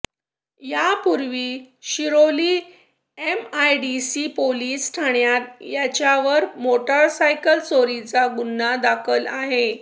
यापुर्वी Shiroli MIDC police ठाण्यात त्याच्यावर motorcycle चोरीचा गुन्हा दाखल आहे